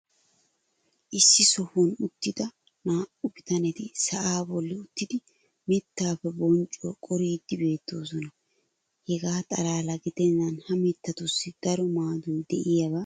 issi sohuwan uttida naa'u bitanetti sa"aa boli uttidi mitaappe bonccuwaa qoriidi beetoosona. hegaa xalaala giddenan ha mitatussi daro maadoy diyaaba malatees.